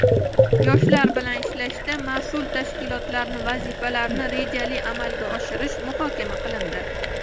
yoshlar bilan ishlashda mas’ul tashkilotlarning vazifalarini rejali amalga oshirish muhokama qilindi.